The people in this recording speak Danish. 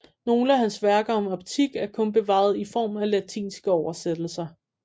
Nogle af hans værker om optik er kun bevaret i form af latinske oversættelser